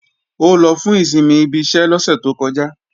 Ó lọ fún ìsinmi ibi iṣẹ́ lọ́sẹ̀ tó kọjá